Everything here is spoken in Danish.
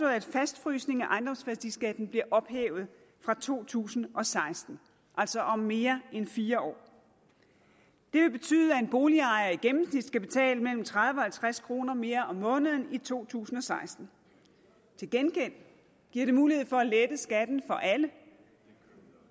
at fastfrysningen af ejendomsværdiskatten bliver ophævet fra to tusind og seksten altså om mere end fire år det vil betyde at en boligejer i gennemsnit skal betale mellem tredive og halvtreds kroner mere om måneden i to tusind og seksten til gengæld giver det mulighed for at lette skatten for alle